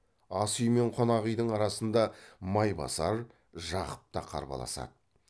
асүй мен қонақүйдің арасында майбасар жақып та қарбаласады